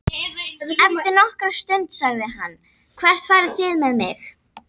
Eftir nokkra stund sagði hann:- Hvert farið þið með mig?